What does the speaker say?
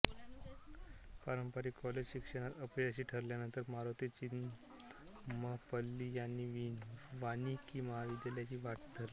पारंपरिक कॉलेज शिक्षणात अपयशी ठरल्यानंतर मारुती चितमपल्ली यांनी वानिकी महाविद्यालयाची वाट धरली